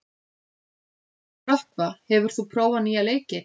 Rökkva, hefur þú prófað nýja leikinn?